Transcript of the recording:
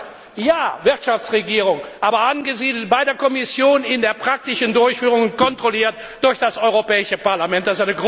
Deshalb Wirtschaftsregierung ja, aber angesiedelt bei der Kommission in der praktischen Durchführung und kontrolliert durch das Europäische Parlament!